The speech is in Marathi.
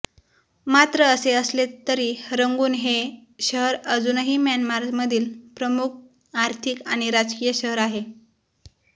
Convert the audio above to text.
मात्र असे असले तरी रंगून हे शहर अजूनही म्यानमारमधील प्रमुक आर्थिक आणि राजकीय शहर आहे